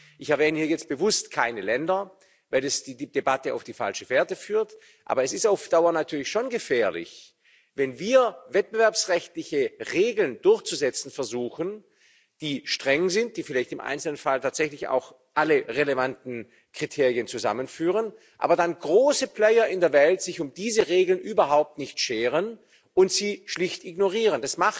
Ich erwähne jetzt bewusst keine Länder, weil es die Debatte auf die falsche Fährte führt. Aber es ist auf Dauer natürlich schon gefährlich, wenn wir wettbewerbsrechtliche Regeln durchzusetzen versuchen, die streng sind, die vielleicht im Einzelfall tatsächlich auch alle relevanten Kriterien zusammenführen, aber dann große Player in der Welt sich um diese Regeln überhaupt nicht scheren und sie schlicht ignorieren.